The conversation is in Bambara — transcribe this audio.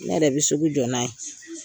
Ne yɛrɛ bɛ sugu jɔ na ye.